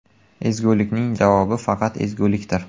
Ezgulikning javobi faqat ezgulikdir.